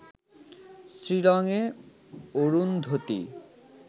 শিলংয়ে অরুন্ধতী